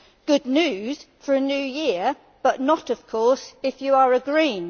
Good news for a new year but not of course if you are a Green.